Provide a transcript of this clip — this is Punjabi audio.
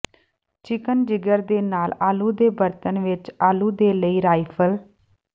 ਚਿਕਨ ਜਿਗਰ ਦੇ ਨਾਲ ਆਲੂ ਦੇ ਬਰਤਨ ਵਿੱਚ ਆਲੂ ਦੇ ਲਈ ਰਾਈਫਲ